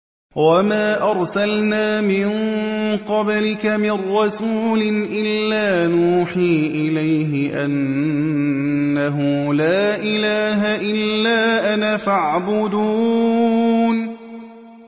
وَمَا أَرْسَلْنَا مِن قَبْلِكَ مِن رَّسُولٍ إِلَّا نُوحِي إِلَيْهِ أَنَّهُ لَا إِلَٰهَ إِلَّا أَنَا فَاعْبُدُونِ